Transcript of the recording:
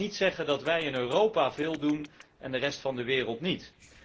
Dus laten wij niet zeggen dat wij in Europa veel doen en de rest van de wereld niet.